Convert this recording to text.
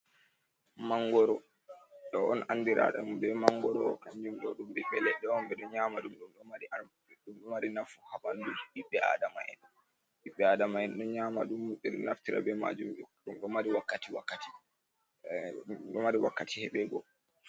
Mangoroo, ɗo on anndiraaɗum be mangoroo, kanjum ɗo ɓiɓɓe leɗɗe on. Ɓe ɗo nyaama ɗum, ɗum mari nafu haa ɓanndu ɓiɓɓe aadama'en. Ɓiɓɓe aadama'en ɗon nyaama ɗum, ɓe ɗo naftira be maajum. Ɗum ɗo mari wakkati wakkati, ɗo mari wakkati heɓeego.